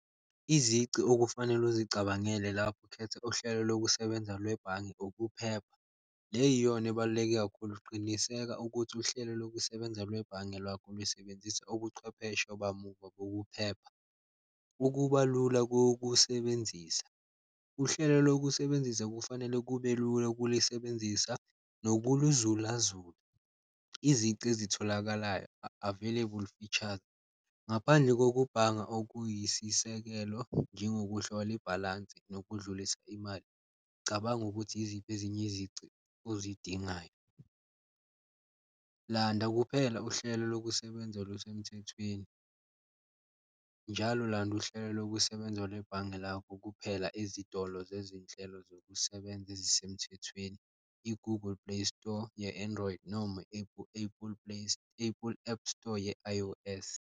Izici okufanele ukuzicabangele lapho ukhetha uhlelo lokusebenza lwebhange ukuphepha, le yiyona ebaluleke kakhulu, qiniseka ukuthi uhlelo lokusebenza lwebhange lwakho lusebenzisa ubuchwepheshe bamuva bokuphepha. Ukuba lula kokusebenzisa, uhlelo lokusebenzisa kufanele kube lula ukulisebenzisa nokuluzulazula, izici ezitholakalayo available features. Ngaphandle kokubhanga okuyisisekelo, njengokuhlola ibhalansi nokudlulisa imali cabanga ukuthi yiziphi ezinye izici ozidingayo. Landa kuphela uhlelo lokusebenza olusemthethweni, njalo landa uhlelo lokusebenza lwebhange lakho kuphela ezitolo zezinhlelo zokusebenza ezisemthethweni, i-Google Playstore ye-Android noma Apple app store ye-I_O_S.